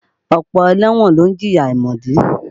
Ọ̀pọ̀ ẹlẹ́wọ̀n ló ń jìyà àìmọ̀dí.